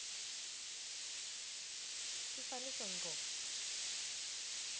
sifaniso ngco